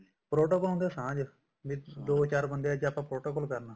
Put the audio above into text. protocol ਹੁੰਦਾ ਸਾਂਝ ਵੀ ਦੋ ਚਾਰ ਬੰਦਿਆਂ ਚ ਆਪਾਂ protocol ਕਰਨੀ ਹੈ